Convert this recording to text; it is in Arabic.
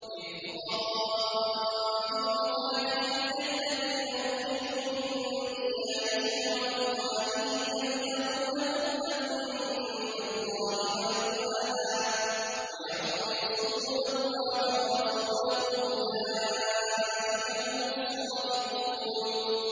لِلْفُقَرَاءِ الْمُهَاجِرِينَ الَّذِينَ أُخْرِجُوا مِن دِيَارِهِمْ وَأَمْوَالِهِمْ يَبْتَغُونَ فَضْلًا مِّنَ اللَّهِ وَرِضْوَانًا وَيَنصُرُونَ اللَّهَ وَرَسُولَهُ ۚ أُولَٰئِكَ هُمُ الصَّادِقُونَ